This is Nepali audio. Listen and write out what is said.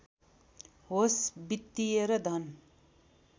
होस् वित्‍तीय र धन